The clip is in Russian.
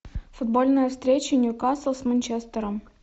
футбольная встреча ньюкасл с манчестером